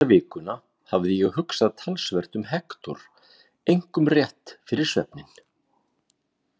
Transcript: Þessa vikuna hafði ég hugsað talsvert um Hektor, einkum rétt fyrir svefninn.